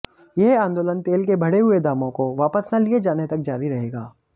यह आंदोलन तेल के बढ़े हुए दामों को वापस न लिए जाने तक जारी रहेगा